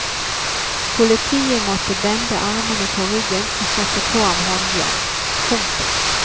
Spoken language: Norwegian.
Politiet måtte bende armene på ryggen og sette på ham håndjern. punktum